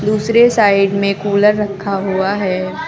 दूसरे साइड में कूलर रखा हुआ है।